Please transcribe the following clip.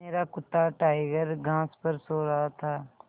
मेरा कुत्ता टाइगर घास पर सो रहा था